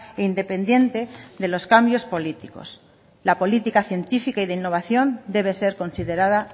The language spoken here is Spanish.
e independiente de los cambios políticos la política científica y de innovación debe ser considerada